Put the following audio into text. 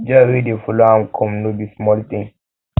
joy wey dey follow am come no be small thing